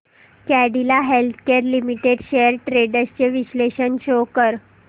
Cadila healthcare limited shares trends चे विश्लेषण show कर